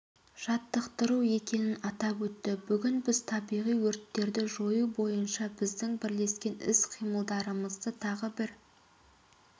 жаттықтыру екенін атап өтті бүгін біз табиғи өрттерді жою бойынша біздің бірлескен іс-қимылдарымызды тағы бір